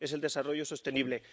Es el desarrollo sostenible.